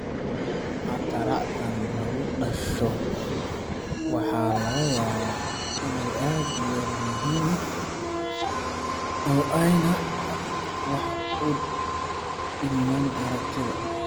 Cataracthan lagu dhasho waxa laga yaabaa inay aad u yar yihiin oo aanay wax u dhimayn aragga.